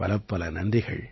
பலப்பல நன்றிகள்